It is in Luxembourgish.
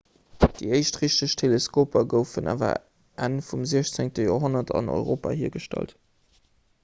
déi éischt richteg teleskoper goufen awer enn vum 16 joerhonnert an europa hiergestallt